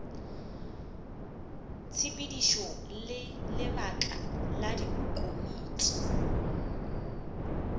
tshepedišo le lebaka la dikomiti